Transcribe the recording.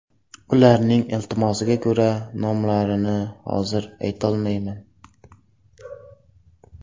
Ularning iltimosiga ko‘ra, nomlarini hozir aytolmayman.